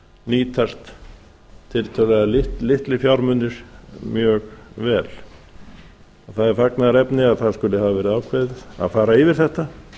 nýtast tiltölulega litlir fjármunir mjög vel það er fagnaðarefni að það skuli hafa verið ákveðið að fara yfir þetta